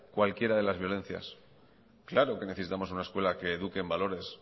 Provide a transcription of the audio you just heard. cualquiera de las violencias claro que necesitamos una escuela que eduquen valores